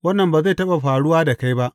Wannan ba zai taɓa faruwa da kai ba!